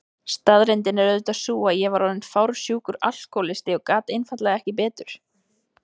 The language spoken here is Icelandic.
Staðreyndin er auðvitað sú að ég var orðin fársjúkur alkohólisti og gat einfaldlega ekki betur.